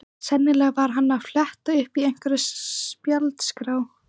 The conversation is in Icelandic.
Sennilega var hann að fletta upp í einhverri spjaldskrá.